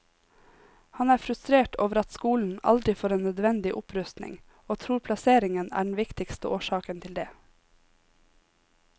Han er frustrert over at skolen aldri får en nødvendig opprustning og tror plasseringen er den viktigste årsaken til det.